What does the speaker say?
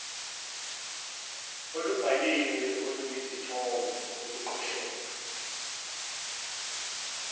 olubhaliwe oluyizithombe oluqoshelwe